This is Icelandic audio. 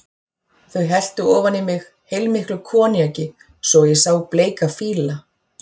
Þau helltu ofan í mig heilmiklu koníaki svo að ég sá bleika fíla.